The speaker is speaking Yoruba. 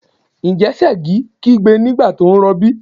Ǹjẹ́ Ṣẹ̀gi kígbe nígbà tó rọbí?